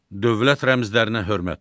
Dövlət rəmzlərinə hörmət.